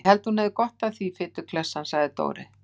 Ég held að hún hefði gott af því, fituklessan sagði Dóri.